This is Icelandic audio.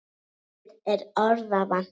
Mér er orða vant.